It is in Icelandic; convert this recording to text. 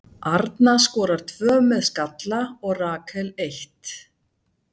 Arna skorar tvö með skalla og Rakel eitt.